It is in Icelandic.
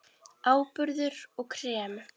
Áburður og krem